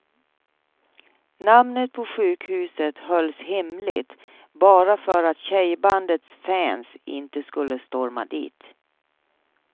Namnet på sjukhuset hölls hemligt, bara för att tjejbandets fans inte skulle storma dit.